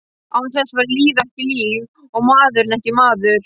Án þess væri lífið ekki líf, og maðurinn ekki maður.